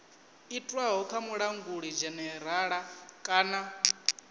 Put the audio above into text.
itwaho kha mulanguli dzhenerala kana